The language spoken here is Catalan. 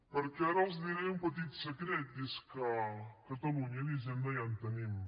perquè ara els diré un petit secret i és que a catalunya d’hisenda ja en tenim